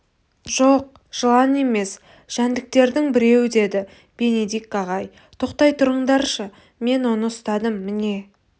жоқ жылан емес жәндіктердің біреуі деді бенедикт ағай тоқтай тұрыңдаршы мен оны ұстадым міне